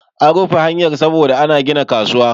an rufe hanyar saboda ana gina kasuwa